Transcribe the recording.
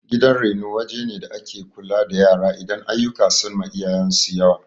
Gidan reno wajene da ake kula da yara idan aiyuka sunma iyayensu yawa